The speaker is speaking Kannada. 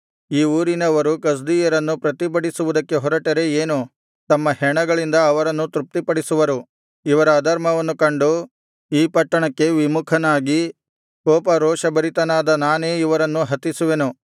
ಈ ಊರಿನವರು ಕಸ್ದೀಯರನ್ನು ಪ್ರತಿಭಟಿಸುವುದಕ್ಕೆ ಹೊರಟರೆ ಏನು ತಮ್ಮ ಹೆಣಗಳಿಂದ ಅವರನ್ನು ತೃಪ್ತಿಪಡಿಸುವರು ಇವರ ಅಧರ್ಮವನ್ನು ಕಂಡು ಈ ಪಟ್ಟಣಕ್ಕೆ ವಿಮುಖನಾಗಿ ಕೋಪ ರೋಷಭರಿತನಾದ ನಾನೇ ಇವರನ್ನು ಹತಿಸುವೆನು